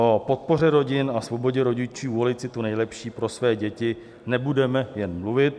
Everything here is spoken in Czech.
O podpoře rodin a svobodě rodičů zvolit si to nejlepší pro své děti nebudeme jen mluvit.